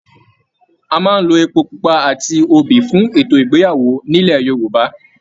A máa n ló èpo pupa àti obì fún ètò ìgbéyàwó nilo Yorùbá.